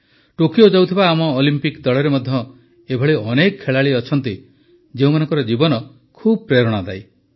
Tokyo ଯାଉଥିବା ଆମ Olympic ଦଳରେ ମଧ୍ୟ ଏଭଳି ଅନେକ ଖେଳାଳି ଅଛନ୍ତି ଯେଉଁମାନଙ୍କ ଜୀବନ ଖୁବ ପ୍ରେରଣାଦାୟୀ